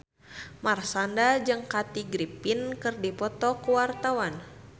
Marshanda jeung Kathy Griffin keur dipoto ku wartawan